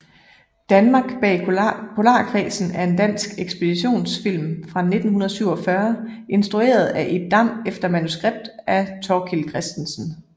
Danmark bag Polarkredsen er en dansk ekspeditionsfilm fra 1947 instrueret af Ib Dam efter manuskript af Thorkild Christensen